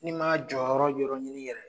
N'i ma jɔyɔrɔ yɔrɔ ɲini yɛrɛ